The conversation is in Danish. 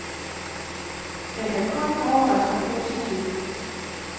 Jeg kan kun overraske positivt.